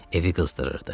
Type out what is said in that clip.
Evi qızdırırdı.